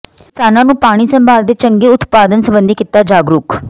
ਕਿਸਾਨਾਂ ਨੂੰ ਪਾਣੀ ਸੰਭਾਲ ਤੇ ਚੰਗੇ ਉਤਪਾਦਨ ਸਬੰਧੀ ਕੀਤਾ ਜਾਗਰੂਕ